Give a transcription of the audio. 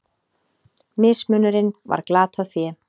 Mismunurinn var glatað fé.